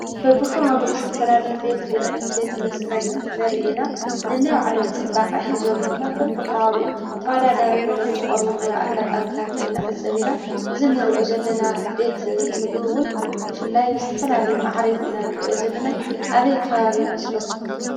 በብኸባቢኡ ዝተፈላለዩ ቤት ብልዕን ቤት መስተን ንርኢ ኢና፡፡ ነናይ ባዕሎም ፅባቐ ሒዞም ድማ በብከባቢኡ ተወዳዳሪ ኮይኖም ዝቐርብሉ ኣጋጣሚታት ንዕዘብ ኢና፡፡ እዚ ንሪኦ ዘለና ቤት ምግቢ እውን ብፍላይ ብዝተፈላለዩ ማዕሪጉ ኢና ንሪኦ ዘለና፡፡ ኣበይ ከባቢ ይመስለኩም?